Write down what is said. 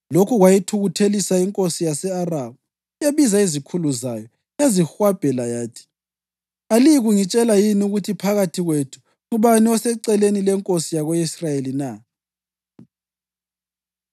Lokhu kwayithukuthelisa inkosi yase-Aramu. Yabiza izikhulu zayo yazihwabhela yathi, “Aliyikungitshela yini ukuthi phakathi kwethu ngubani oseceleni lenkosi yako-Israyeli na?”